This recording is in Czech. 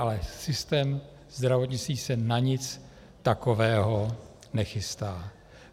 Ale systém zdravotnictví se na nic takového nechystá.